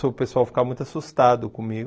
o pessoal ficava muito assustado comigo.